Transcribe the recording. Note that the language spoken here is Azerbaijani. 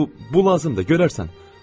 Bu, bu lazımdır, görərsən.